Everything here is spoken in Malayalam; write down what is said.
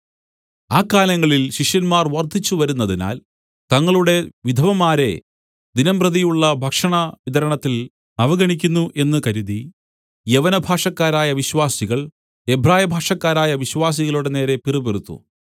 ആ കാലങ്ങളിൽ ശിഷ്യന്മാർ വർദ്ധിച്ച് വരുന്നതിനാൽ തങ്ങളുടെ വിധവമാരെ ദിനംപ്രതിയുള്ള ഭക്ഷണ വിതരണത്തിൽ അവഗണിക്കുന്നു എന്ന് കരുതി യവനഭാഷക്കാരായ വിശ്വാസികൾ എബ്രായഭാഷക്കാരായ വിശ്വാസികളുടെ നേരെ പിറുപിറുത്തു